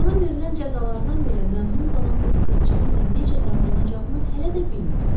Ona verilən cəzalardan belə məmnun qalan bu qızcığazla necə davranacağını hələ də bilmirdi.